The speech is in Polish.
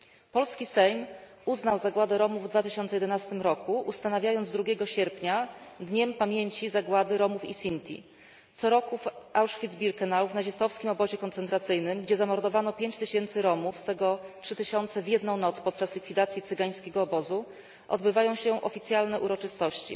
Polski Sejm uznał zagładę Romów w 2011 roku, ustanawiając 2 sierpnia Dniem Pamięci Zagłady Romów i Sinti. Co roku w Auschwitz Birkenau, w nazistowskim obozie koncentracyjnym, gdzie zamordowano 5 tysięcy Romów, z tego 3 tysiące w jedną noc podczas likwidacji cygańskiego obozu, odbywają się oficjalne uroczystości.